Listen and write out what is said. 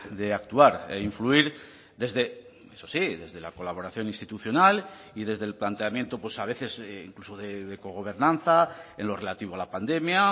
de actuar e influir desde eso sí desde la colaboración institucional y desde el planteamiento pues a veces incluso de cogobernanza en lo relativo a la pandemia